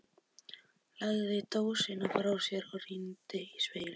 Lagði dósina frá sér og rýndi í spegilinn.